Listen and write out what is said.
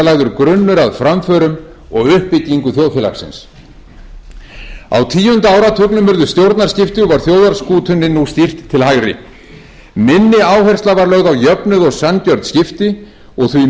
lagður grunnur að framförum og uppbyggingu þjóðfélagsins á tíunda áratugnum urðu stjórnarskipti og var þjóðarskútunni nú stýrt til hægri minni áhersla var lögð á jöfnuð og sanngjörn skipti og því miður tókst þeim